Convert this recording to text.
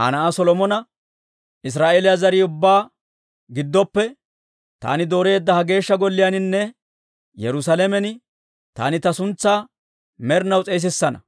Aa na'aa Solomona, «Israa'eeliyaa zariyaa ubbaa giddoppe taani dooreedda ha Geeshsha Golliyaaninne Yerusaalamen taani ta suntsaa med'inaw s'eesissana.